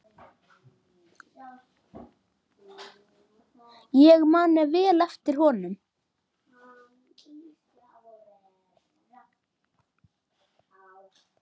Ég man vel eftir honum.